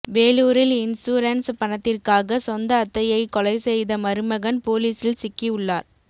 வேலூரில் இன்சூரன்ஸ் பணத்திற்காக சொந்த அத்தையை கொலை செய்த மருமகன் போலிஸில் சிக்கி உள்ளார்